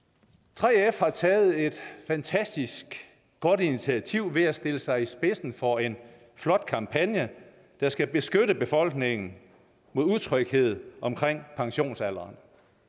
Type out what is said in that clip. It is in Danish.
3f har taget et fantastisk godt initiativ ved at stille sig i spidsen for en flot kampagne der skal beskytte befolkningen mod utryghed om pensionsalderen